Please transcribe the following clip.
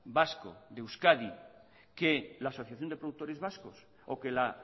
vasco de euskadi que la asociación de productores vascos o que la